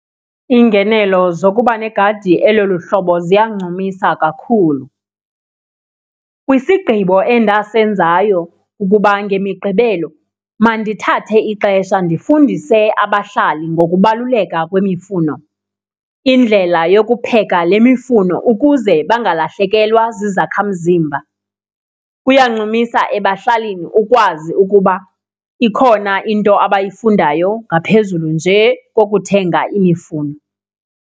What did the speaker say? Iingenelo zokuba negadi elolu hlobo ziyancumisa kakhulu. Kwisigqibo endasenzayo ukuba ngemiqgibelo mandithathe ixesha ndifundise abahlali ngokubaluleka kwimifuno, indlela yokupheka le mifuno ukuze bangalahlekelwa zizakhamzimba. Kuyancumisa ebahlalini ukwazi ukuba ikhona into abayifundayo ngaphezulu nje kokuthenga imifuno.